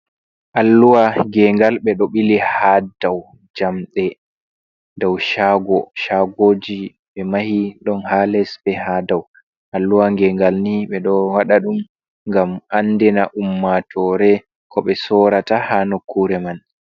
Alluwa ngengal ɓe ɗo bili haa dow jamɗe dow shago, shagoji ɓe mahi ɗon haa les be haa dow. Alluwa ngengal nii ɓe ɗo waɗa ɗum ngam andina ummatore ko ɓe soorata haa nokkure man.